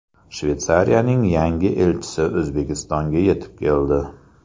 Shveysariyaning yangi elchisi O‘zbekistonga yetib keldi.